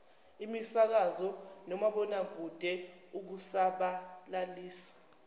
imisakazo nomabonwakude ukusabalalisa